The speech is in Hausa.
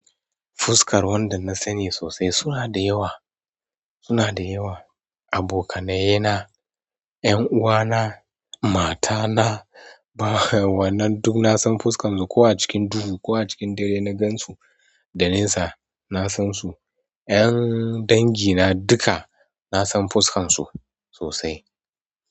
Fuskar wanda na sani sosai suna da yawa, suna da yawa, abokanaye na, ƴan'uwana, matana, bah wannan duk na san fuskar su. Ko a cikin duhu ko a cikin dare na gan su da nesa, na san su. 'Yan dangi na duka na san fuskar su sosai.